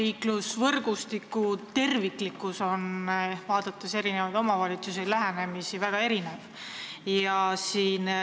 Kui vaadata omavalitsusi ja nende lähenemisi, siis näeme, et kergliiklusvõrgustiku terviklikkus erineb väga palju.